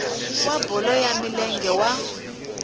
wa bolo ya milenge wa